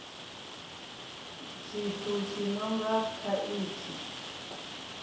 tshithu tshi no nga khaithi